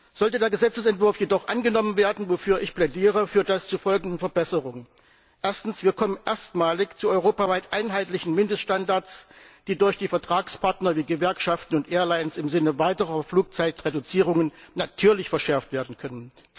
Sollte der Gesetzesentwurf jedoch angenommen werden, wofür ich plädiere, führt das zu folgenden Verbesserungen Erstens kommen wir erstmalig zu europaweit einheitlichen Mindeststandards, die durch die Vertragspartner wie Gewerkschaften und Airlines im Sinne weiterer Flugzeitreduzierungen natürlich verschärft werden können.